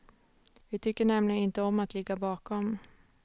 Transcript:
Vi tycker nämligen inte om att ligga bakom.